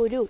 ഒരു